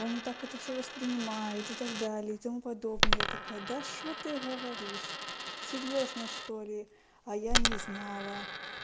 он не так это все воспринимает и так далее и тому подобное я такая да что ты говоришь серьёзно что ли а я не знала